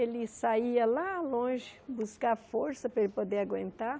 Ele saía lá longe buscar força para poder aguentar.